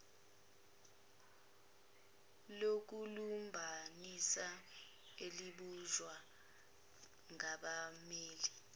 lokulumbanisa elibunjwe ngabammeli